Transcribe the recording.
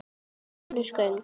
Önnur gögn.